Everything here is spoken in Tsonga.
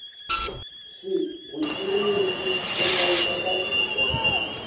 swigwitsirisi swo hlayisa swakudya